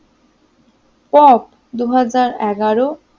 top দুই হাজার এগারো